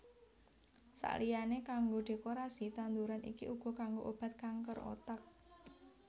Sakliyané kanggo dékorasi tanduran iki uga kanggo obat kanker otak